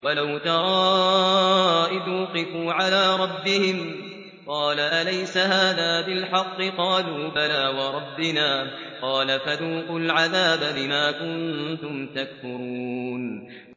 وَلَوْ تَرَىٰ إِذْ وُقِفُوا عَلَىٰ رَبِّهِمْ ۚ قَالَ أَلَيْسَ هَٰذَا بِالْحَقِّ ۚ قَالُوا بَلَىٰ وَرَبِّنَا ۚ قَالَ فَذُوقُوا الْعَذَابَ بِمَا كُنتُمْ تَكْفُرُونَ